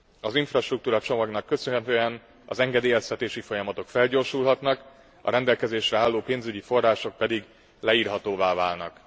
Az infrastruktúra csomagnak köszönhetően az engedélyeztetési folyamatok felgyorsulhatnak, a rendelkezésre álló pénzügyi források pedig leírhatóvá válnak.